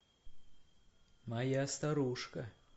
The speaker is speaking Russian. моя старушка